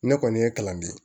Ne kɔni ye kalan de ye